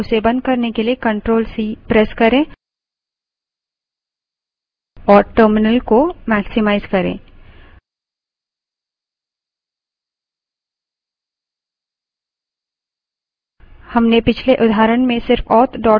running tail command को बंद करने के लिए ctrl + c प्रेस करें और टर्मिनल को maximize करें